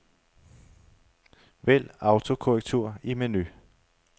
Vælg autokorrektur i menu.